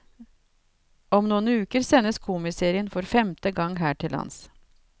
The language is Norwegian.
Om noen uker sendes komiserien for femte gang her til lands.